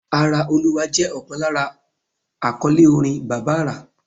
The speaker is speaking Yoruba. Ara Olúwa jẹ́ ọ̀kan lára àkọ́lé orin Bàbá àrà.